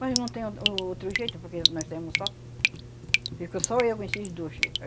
Mas não tem outro oh outro jeito, porque nós temos só... Ficou só eu com esses dois.